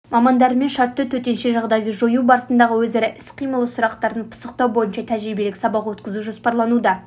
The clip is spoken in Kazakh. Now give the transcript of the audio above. мамандарымен шартты төтенше жағдайды жою барысындағы өзара іс-қимылы сұрақтарын пысықтау бойынша тәжірибелік сабақ өткізу жоспарлануда